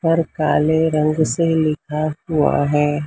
और काले रंग से लिखा हुआ है।